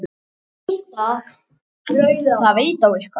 Það veit á eitthvað.